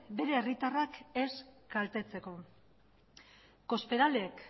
bere herritarrak ez kaltetzeko cospedalek